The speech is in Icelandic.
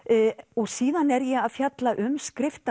og síðan er ég að fjalla um